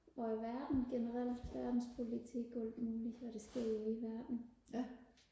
og i verden generelt verdenspolitik og alt muligt hvad der sker ude i verden